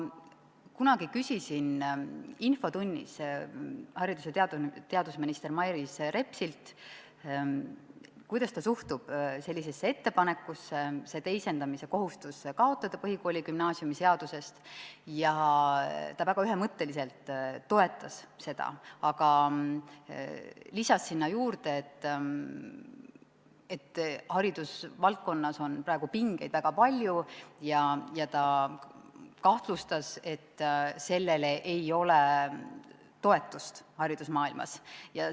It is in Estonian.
Ma kunagi küsisin infotunnis haridus- ja teadusminister Mailis Repsilt, kuidas ta suhtub ettepanekusse see teisendamise kohustus põhikooli- ja gümnaasiumiseadusest kaotada, ja ta väga ühemõtteliselt toetas seda, aga lisas juurde, et haridusvaldkonnas on praegu pingeid väga palju, ja ta kahtlustas, et sellele ei ole haridusmaailmas toetust.